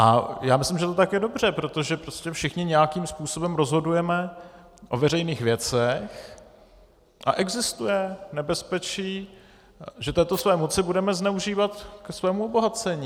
A já myslím, že to tak je dobře, protože prostě všichni nějakým způsobem rozhodujeme o veřejných věcech a existuje nebezpečí, že této své moci budeme zneužívat ke svému obohacení.